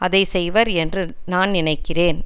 அதை செய்வர் என்று நான் நினைக்கிறேன்